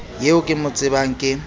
eo ke mo tsebang ke